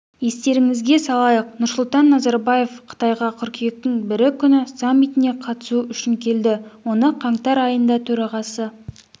естеріңізге салайық нұрсұлтан назарбаев қытайға қыркүйектің бірі күні саммитіне қатысу үшін келді оны қаңтар айында төрағасы